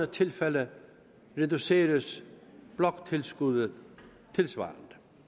tilfælde reduceres bloktilskuddet tilsvarende